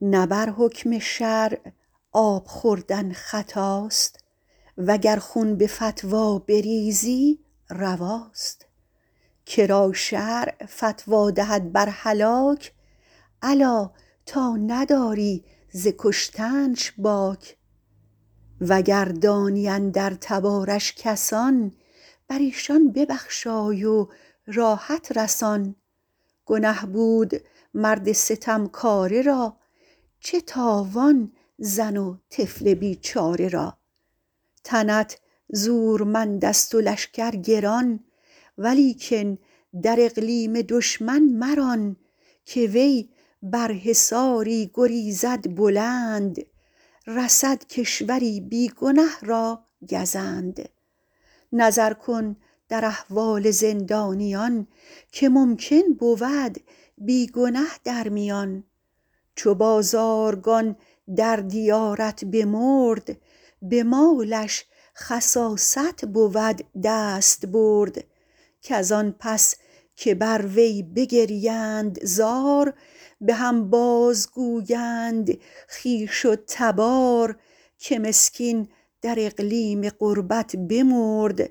نه بر حکم شرع آب خوردن خطاست وگر خون به فتوی بریزی رواست که را شرع فتوی دهد بر هلاک الا تا نداری ز کشتنش باک وگر دانی اندر تبارش کسان بر ایشان ببخشای و راحت رسان گنه بود مرد ستمکاره را چه تاوان زن و طفل بیچاره را تنت زورمند است و لشکر گران ولیکن در اقلیم دشمن مران که وی بر حصاری گریزد بلند رسد کشوری بی گنه را گزند نظر کن در احوال زندانیان که ممکن بود بی گنه در میان چو بازارگان در دیارت بمرد به مالش خساست بود دستبرد کز آن پس که بر وی بگریند زار به هم باز گویند خویش و تبار که مسکین در اقلیم غربت بمرد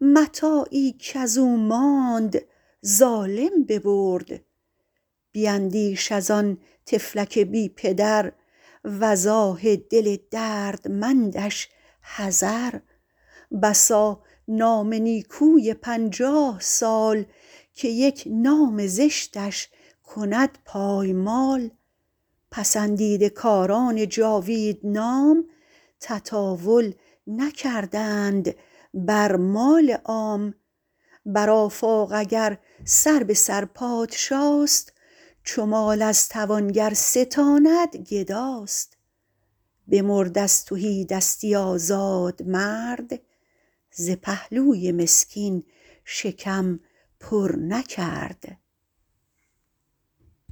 متاعی کز او ماند ظالم ببرد بیندیش از آن طفلک بی پدر وز آه دل دردمندش حذر بسا نام نیکوی پنجاه سال که یک نام زشتش کند پایمال پسندیده کاران جاوید نام تطاول نکردند بر مال عام بر آفاق اگر سر به سر پادشاست چو مال از توانگر ستاند گداست بمرد از تهیدستی آزاد مرد ز پهلوی مسکین شکم پر نکرد